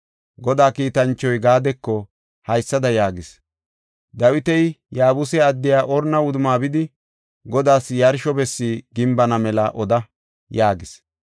Godaa kiitanchoy Gaadeko haysada yaagis; “Dawiti Yaabuse addiya Orna wudumma bidi Godaas yarsho bessi gimbana mela oda” yaagis.